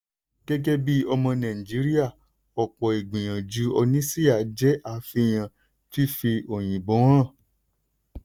gẹ́gẹ́ bí ọmọ nàìjíríà ọ̀pọ̀ ìgbìyànjú oníṣíà jẹ́ àfihàn fífi òyìnbó hàn.